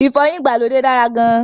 Ìfọyín ìgbàlódé dára gan-an